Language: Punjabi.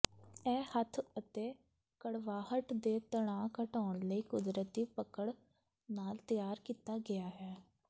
ਇਹ ਹੱਥ ਅਤੇ ਕੜਵਾਹਟ ਦੇ ਤਣਾਅ ਘਟਾਉਣ ਲਈ ਕੁਦਰਤੀ ਪਕੜ ਨਾਲ ਤਿਆਰ ਕੀਤਾ ਗਿਆ ਹੈ